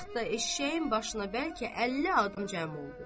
Bir az vaxtda eşşəyin başına bəlkə 50 adam cəm oldu.